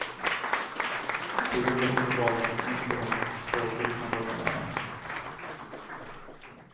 Det gjorde uppenbarligen inte de två gripna holländarna.